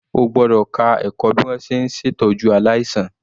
O gbọ́dọ̀ ka ẹ̀kọ́ bí wọn ṣe ń ṣè tọ́jú aláìsàn.